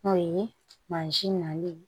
O ye mansin nali